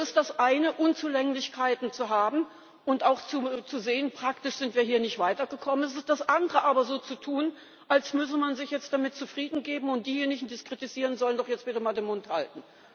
Es ist das eine, Unzulänglichkeiten zu haben und auch zu sehen, praktisch sind wir hier nicht weitergekommen, es ist aber das andere, so zu tun, als müsse man sich jetzt damit zufrieden geben und diejenigen, die es kritisieren, sollen doch jetzt bitte mal den Mund halten.